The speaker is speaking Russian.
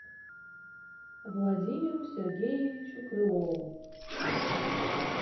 владимиру сергеевичу крылову